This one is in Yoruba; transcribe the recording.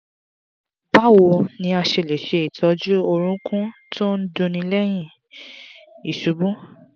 báwo ni a ṣe lè se itoju orúnkún to n dunni lẹ́yìn iṣubú?